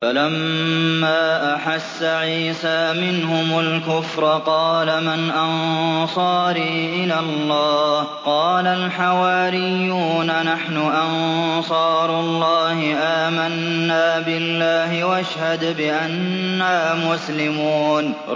۞ فَلَمَّا أَحَسَّ عِيسَىٰ مِنْهُمُ الْكُفْرَ قَالَ مَنْ أَنصَارِي إِلَى اللَّهِ ۖ قَالَ الْحَوَارِيُّونَ نَحْنُ أَنصَارُ اللَّهِ آمَنَّا بِاللَّهِ وَاشْهَدْ بِأَنَّا مُسْلِمُونَ